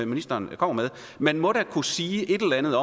ministeren kommer med man må da kunne sige et eller andet